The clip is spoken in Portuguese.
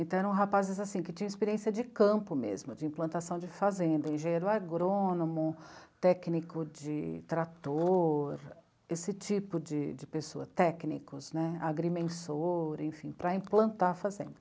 Então eram rapazes assim, que tinham experiência de campo mesmo, de implantação de fazenda, engenheiro agrônomo, técnico de trator, esse tipo de, de pessoa, técnicos, agrimensor, enfim, para implantar a fazenda.